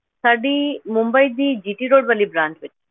ਸਾਡੀ ਮੁੰਬਈ ਦੀ GT road ਵਾਲੀ branch ਵਿੱਚ।